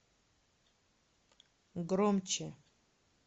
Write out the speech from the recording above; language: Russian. громче